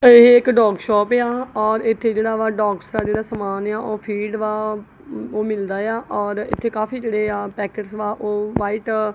ਪਾਈ ਇਹ ਇਕ dog shop ਆ ਔਰ ਇਥੇ ਜਿਹੜਾ ਡੋਗਸ ਦਾ ਜਿਹੜਾ ਸਮਾਨ ਆ ਉਹ ਫੀਡ ਵਾ ਉਹ ਮਿਲਦਾ ਆ ਔਰ ਇਥੇ ਕਾਫੀ ਜਿਹੜੇ ਆ ਪੈਕਟ ਵਾ ਉਹ ਵਾਈਟ ।